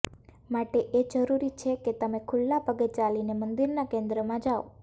માટે એ જરૂરી છે કે તમે ખુલ્લા પગે ચાલીને મંદિરના કેન્દ્ર માં જાઓ